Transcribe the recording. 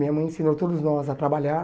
Minha mãe ensinou todos nós a trabalhar.